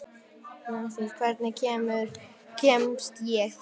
Nansý, hvernig kemst ég þangað?